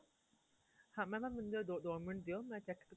ਹਾਂ mam ਮੈਨੂੰ ਜ਼ਰਾ ਦੋ ਮਿੰਟ ਦਿਉ ਮੈਂ check